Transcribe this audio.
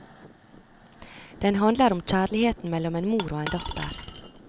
Den handler om kjærligheten mellom en mor og en datter.